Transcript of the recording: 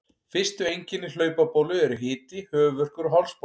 Fyrstu einkenni hlaupabólu eru hiti, höfuðverkur og hálsbólga.